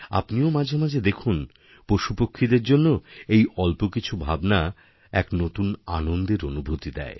আপনিও মাঝেমাঝে দেখুন পশুপক্ষীদের জন্য এই অল্প কিছু ভাবনা এক নতুন আনন্দের অনুভূতি দেয়